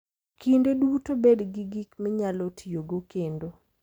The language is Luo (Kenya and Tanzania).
Kinde duto bed gi gik minyalo tiyogo kendo.